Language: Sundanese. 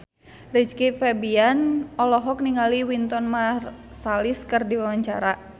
Rizky Febian olohok ningali Wynton Marsalis keur diwawancara